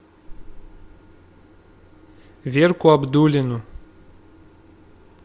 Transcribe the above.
верку абдуллину